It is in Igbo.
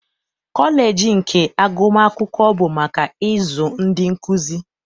Kọleji nke agụmakwụkwọ bụ maka ịzụ ndị nkuzi.